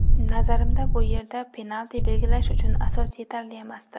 Nazarimda, bu yerda penalti belgilash uchun asos yetarli emasdi.